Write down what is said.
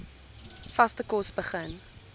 vaste kos begin